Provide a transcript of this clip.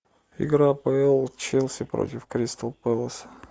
игра апл челси против кристал пэлас